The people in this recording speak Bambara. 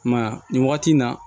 I m'a ye a nin wagati in na